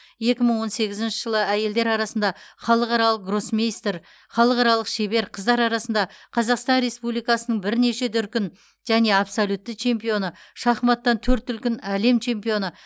екі мың он сегізінші жылы әйелдер арасында халықаралық гроссмейстер халықаралық шебер қыздар арасында қазақстан республикасының бірнеше дүркін және абсолютті чемпионы шахматтан төрт дүркін әлем чемпионы